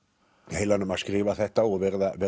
heilanum að skrifa þetta og verið að